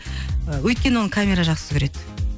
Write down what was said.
ы өйткені оны камера жақсы көреді